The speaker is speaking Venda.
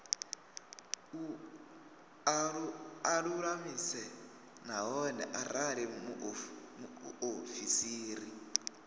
a lulamise nahone arali muofisiri